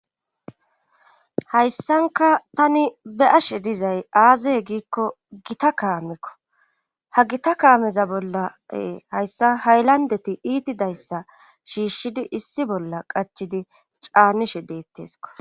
hayssanka tani be'ashe dizay aazeye giikko gita kaamikko ha gita kaameza bolla hayssa haylandeti iitidayssa shiishshidi issi bolla qachidi caamishe deetteesko